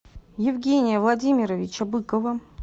евгения владимировича быкова